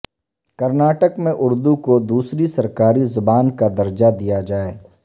کرناٹک میں اردو کو دوسری سرکاری زبان کا درجہ دیا جائے